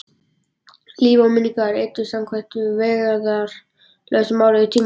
Líf og minningar sem eyddust samkvæmt vægðarlausu lögmáli tímans.